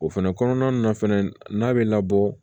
O fɛnɛ kɔnɔna na fɛnɛ n'a be labɔ